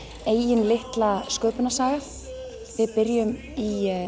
eigin litla sköpunarsaga við byrjum í